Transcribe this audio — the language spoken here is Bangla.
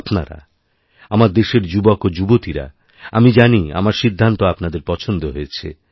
আপনারা আমার দেশের যুবক ও যুবতীরা আমি জানি আমার সিদ্ধান্ত আপনাদেরপছন্দ হয়েছে